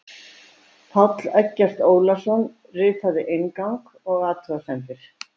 Páll Eggert Ólason ritaði inngang og athugasemdir.